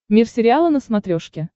мир сериала на смотрешке